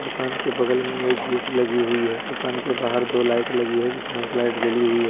दुकान के बगल में एक गेट लगी हुई है दुकान के बाहर दो लाइट लगी है जिसमें एक लाइट जली हुई है ।